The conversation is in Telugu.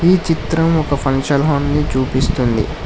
ఈ చిత్రం ఒక ఫంక్షన్ హాల్ ని చూపిస్తుంది.